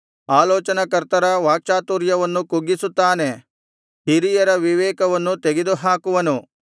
ಆಲೋಚನಾಕರ್ತರ ವಾಕ್ಚಾತುರ್ಯವನ್ನು ಕುಗ್ಗಿಸುತ್ತಾನೆ ಹಿರಿಯರ ವಿವೇಕವನ್ನು ತೆಗೆದುಹಾಕುವನು